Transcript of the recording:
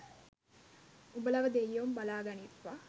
උඹලව දෙයියොම බලා ගනිත්වා